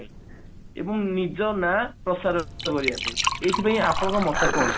ଏବଂ ନିଜ ନା ପ୍ରସାର କରିବା ପାଇଁ ଏଇଥିପାଇଁ ଆପଣଙ୍କ ମତ କଣ